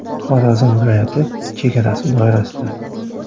Xorazm viloyati chegarasi doirasida.